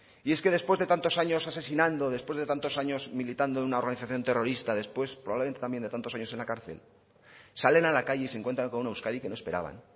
y es que después de tantos años asesinando después de tantos años militando en una organización terrorista después probablemente también de tantos años en la cárcel salen a la calle y se encuentran con una euskadi que no esperaban